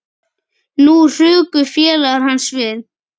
Nú hrukku félagar hans við.